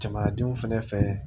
Jamanadenw fɛnɛ fɛ